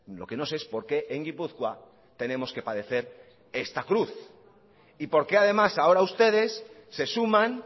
lo que no sé es por qué en gipuzkoa tenemos que padecer esta cruz y por qué además ahora ustedes se suman